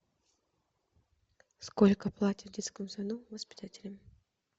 сколько платят в детском саду воспитателям